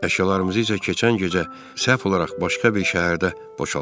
Əşyalarımızı isə keçən gecə səhv olaraq başqa bir şəhərdə boşaltdılar.